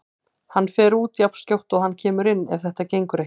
Hann fer út jafnskjótt og hann kemur inn ef þetta gengur ekki.